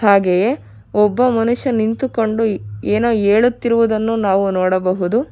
ಹಾಗೆಯೇ ಒಬ್ಬ ಮನುಷ್ಯ ನಿಂತುಕೊಂಡು ಏನೋ ಹೇಳುತ್ತಿರುವುದನ್ನು ನಾವು ನೋಡಬಹುದು.